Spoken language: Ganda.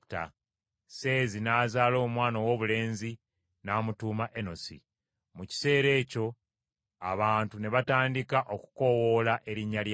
Seezi n’azaala omwana owoobulenzi n’amutuuma Enosi. Mu kiseera ekyo abantu ne batandika okukoowoola erinnya lya Mukama .